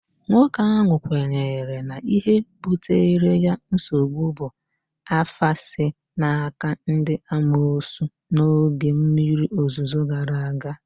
nwoke ahụ kwenyere na ihe butere ya nsogbu bụ afa si n'aka ndị amoosu n'oge mmiri ozuzo gara aga